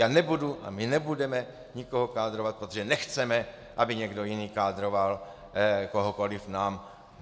Já nebudu a my nebudeme nikoho kádrovat, protože nechceme, aby někdo jiný kádroval kohokoli nám.